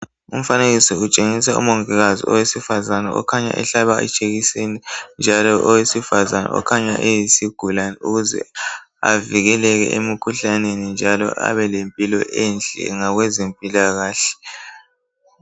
umfanekiso utshengisa umongikazi okhanya ehlaba ijekiseni njalo owesifazane okhanya eyisigulana ukuze avikeleke emikhuhlaneni njalo abe lempilo enhle ngabeze mpillakahle